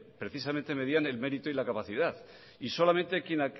precisamente medían el mérito y la capacidad y solamente quien